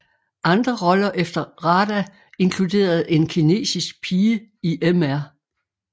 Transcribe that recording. Andre roller efter RADA inkluderede en kinesisk pige i Mr